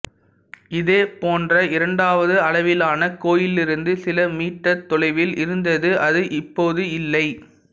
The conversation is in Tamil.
இதேபோன்ற இரண்டாவது அளவிலான கோயிலிலிருந்து சில மீட்டர் தொலைவில் இருந்தது அது இப்போது இல்லை